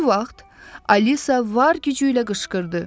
Bu vaxt Alisa var gücü ilə qışqırdı.